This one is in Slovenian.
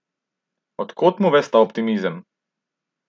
Od kod mu ves ta optimizem?